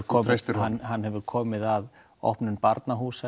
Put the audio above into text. treystir honum hann hefur komið að opnun